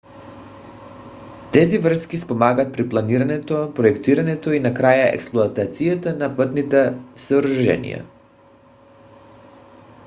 тези връзки спомагат при планирането проектирането и накрая експлоатацията на пътните съоръжения